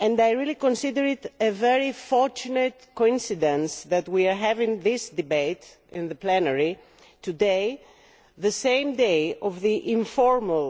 I consider it a very fortunate coincidence that we are having this debate in plenary today, on the same day as the informal